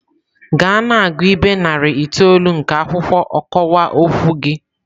Gaa na-agụ ibe narị itoolu nke akwụkwọ ọkọwa okwu gị!.